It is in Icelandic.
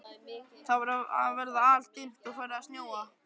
Það var að verða aldimmt og farið að snjóa.